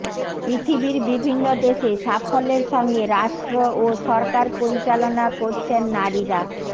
পৃথিবীর বিভিন্ন দেশে সাফল্যের সঙ্গে রাষ্ট্র ও সরকার পরিচালনা করছেন নারীরা